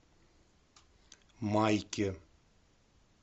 майке